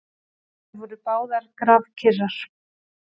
Þær voru báðar grafkyrrar.